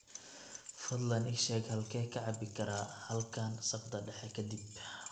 fadlan ii sheeg halkee ka cabbi karaa halkan saqda dhexe ka dib